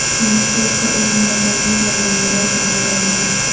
fast food کو اس موٹاپے کا ذمہ دار کہا گیا ہے